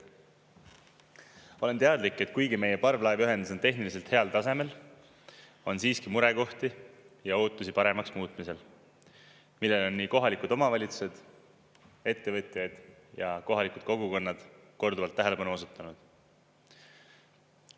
Ma olen teadlik, et kuigi meie parvlaevaühendus on tehniliselt heal tasemel, on siiski murekohti ja ootusi paremaks muutmisel, millele on nii kohalikud omavalitsused, ettevõtjad ja kohalikud kogukonnad korduvalt tähelepanu osutanud.